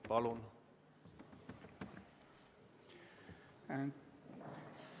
Palun!